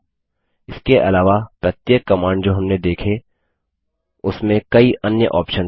इसके अलावा प्रत्येक कमांड जो हमने देखी उसमें कई अन्य ऑप्शन्स हैं